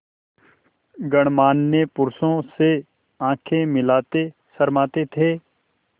गणमान्य पुरुषों से आँखें मिलाते शर्माते थे